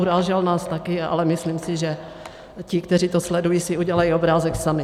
Urážel nás také, ale myslím si, že ti, kteří to sledují, si udělají obrázek sami.